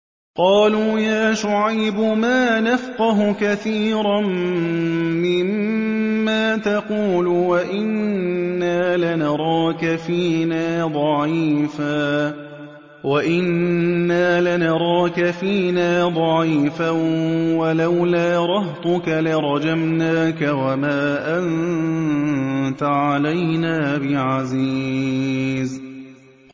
قَالُوا يَا شُعَيْبُ مَا نَفْقَهُ كَثِيرًا مِّمَّا تَقُولُ وَإِنَّا لَنَرَاكَ فِينَا ضَعِيفًا ۖ وَلَوْلَا رَهْطُكَ لَرَجَمْنَاكَ ۖ وَمَا أَنتَ عَلَيْنَا بِعَزِيزٍ